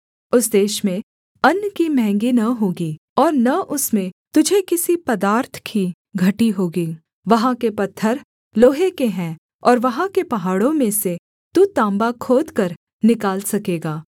उस देश में अन्न की महँगी न होगी और न उसमें तुझे किसी पदार्थ की घटी होगी वहाँ के पत्थर लोहे के हैं और वहाँ के पहाड़ों में से तू तांबा खोदकर निकाल सकेगा